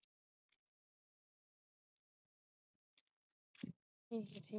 ਏਹੀ ਜੇ